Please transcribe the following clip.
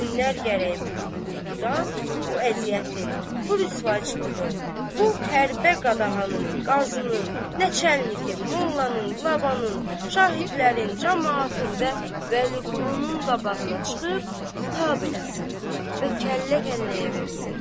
Hünnər gərək bu qoltuqdan, o əziyyətin, bu rüsvaçılığın, bu hərbə qadağanın, qazının, nə çəlliyin, mollanın, qılabanın, şahidlərin, camaatın və Vəliqulunun qabağına çıxıb tab eləsin və kəllə-kəlləyə versin.